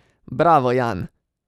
Bravo Jan!